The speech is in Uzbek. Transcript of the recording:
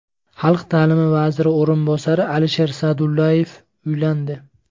Xalq ta’limi vaziri o‘rinbosari Alisher Sa’dullayev uylandi.